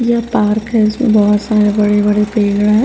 ये पार्क है इसमें बहुत सारे बड़े-बड़े पेड़ है।